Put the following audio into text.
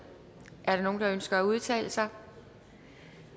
er der nogen der ønsker at udtale sig